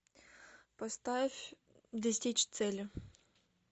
поставь достичь цели